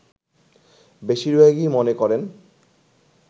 বেশিরভাগই মনে করেন